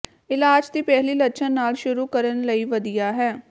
ਇਲਾਜ ਦੀ ਪਹਿਲੀ ਲੱਛਣ ਨਾਲ ਸ਼ੁਰੂ ਕਰਨ ਲਈ ਵਧੀਆ ਹੈ